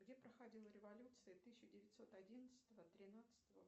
где проходила революция тысяча девятьсот одиннадцатого тринадцатого